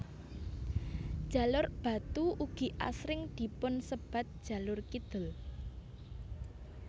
Jalur Batu ugi asring dipun sebat jalur kidul